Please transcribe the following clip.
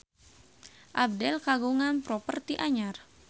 Abdel kagungan properti anyar